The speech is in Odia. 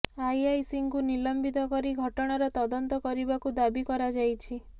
ଆଇଆଇସି ଙ୍କୁ ନିଲମ୍ବିତ କରି ଘଟଣାର ତଦନ୍ତ କରିବାକୁ ଦାବି କରାଯାଇଛି